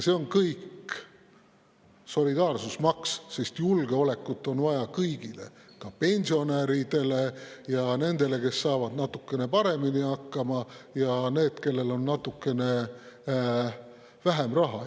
See on kõik solidaarsusmaks, sest julgeolekut on vaja kõigile, ka pensionäridele ja nendele, kes saavad natukene paremini hakkama, ja nendele, kellel on natukene vähem raha.